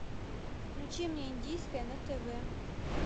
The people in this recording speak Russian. включи мне индийское на тв